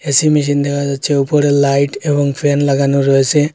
AC machine দেখা যাচ্ছে ওপরে লাইট এবং ফ্যান লাগানো রয়েসে।